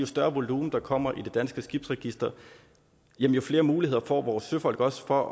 større volumen der kommer i det danske skibsregister jo flere muligheder får vores søfolk også for